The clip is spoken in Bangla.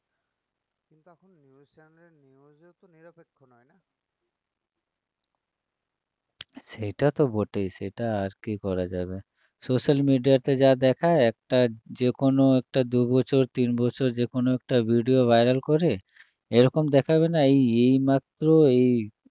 সেটা তো বটেই সেটা আর কী করা যাবে social media তে যা দেখায় একটা যে কোনো একটা দু বছর তিন বছর যে কোনো একটা video viral করে এরকম দেখাবে না এই এইমাত্র এই